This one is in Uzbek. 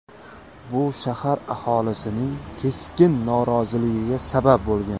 Bu shahar aholisining keskin noroziligiga sabab bo‘lgan.